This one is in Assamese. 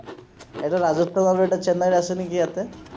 এটা ৰাজত্ৱৰ ভাৱে এটা চেন্নাইৰ আছে নিকি ইয়াতে